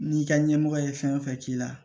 N'i ka ɲɛmɔgɔ ye fɛn fɛn k'i la